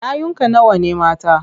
Yayunka nawa ne mata?